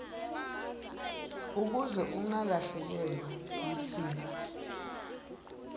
ukuze ungalahlekelwa kutsi